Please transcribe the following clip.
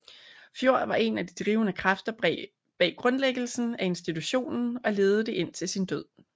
Fjord var en af de drivende kræfter bag grundlæggelsen af institutionen og ledede det indtil sin død